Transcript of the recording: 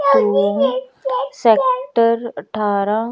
Room sector अठारह।